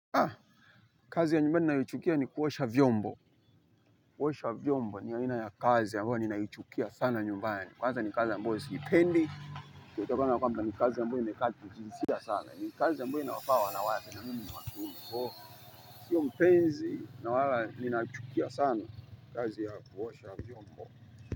Kazi ya nyumbani ninayoichukia ni kuosha vyombo. Kuosha vyombo ni aina ya kazi ambayo ninaichukia sana nyumbani. Kwanza ni kazi ambayo siipendi. Kwa utaona ya kwamba ni kazi ambayo inahitaji jinsia sana. Ni kazi ambayo inawafaa wanawake na mimi ni wa kiume. Kwa hiyo sio mpenzi na wala ninachukia sana. Kazi ya kuosha vyombo.